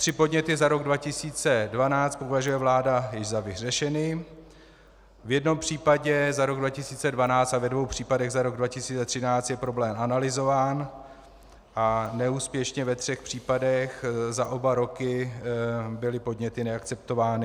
Tři podněty za rok 2012 považuje vláda již za vyřešeny, v jednom případě za rok 2012 a ve dvou případech za rok 2013 je problém analyzován a neúspěšně ve třech případech za oba roky byly podněty neakceptovány.